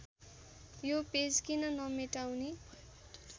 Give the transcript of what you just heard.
यो पेज किन नमेटाउने